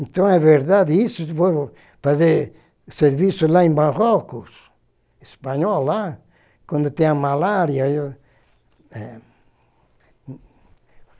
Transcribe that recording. Então é verdade isso, vou fazer serviço lá em Marrocos, espanhol lá, quando tem a malária. Eu, eh